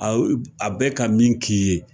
A bɛ ka min k'i ye